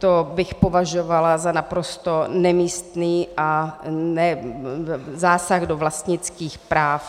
To bych považovala za naprosto nemístný zásah do vlastnických práv.